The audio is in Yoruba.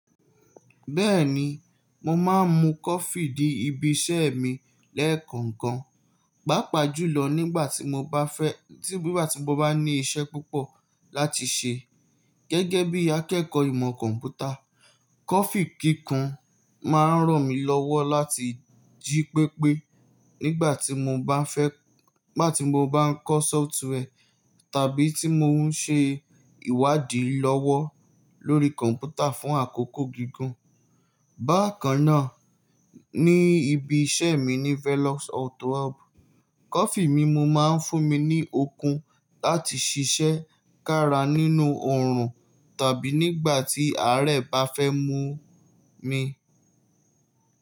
Bẹ́ẹ̀ni, mo máa ń mu coffee dí ibi iṣẹ́ mi lẹ́ẹ̀kọ̀ọ̀kan, pàápàá jùlọ nígbà tí mo bá ní iṣẹ́ púpọ̀ láti ṣe. Gẹ́gẹ́ bí akẹ́kọ̀ọ́ ìmọ̀ kọ̀m̀pútà, coffee kíkan máa ń ràn mí lọ́wọ́ láti jí pépé nígbà tí mo bá ń kọ́ software tàbí tí mò ń ṣe ìwádìí lọ́wọ́ lórí kọ̀m̀pútà fún àkókò gígùn. Bákan náà, ní ibi iṣẹ́ mi ní Velox Auto Hub, coffee mímu máa ń fún mi ní okun láti ṣiṣẹ́ kára nínú ọ̀rùn tàbí nígbà tí àárẹ̀ bá fẹ́ mu mi.